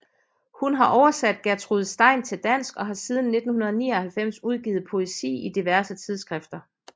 Hun har oversat Gertrude Stein til dansk og har siden 1999 udgivet poesi i diverse tidsskrifter